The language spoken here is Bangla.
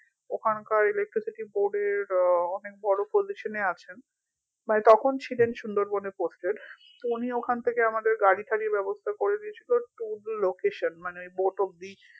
ওখানকার electricity board এর আহ অনেক বড় position এ আছেন মানে তখন ছিলেন সুন্দরবনে posted so উনি ওখান থেকে আমাদের গাড়িটারির ব্যবস্থা করে দিয়েছিলো to the location মানে boat অব্দি